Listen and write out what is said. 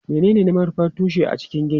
Menene manufar tushe a cikin gini?